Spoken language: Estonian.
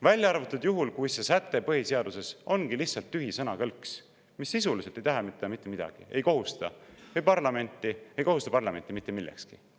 Välja arvatud juhul, kui see säte põhiseaduses ongi lihtsalt tühi sõnakõlks, mis sisuliselt ei tähenda mitte midagi, ei kohusta parlamenti mitte millekski.